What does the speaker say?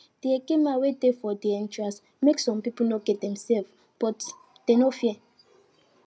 de eke men wey dey for de entrance make some people no get dem sef but dem no fear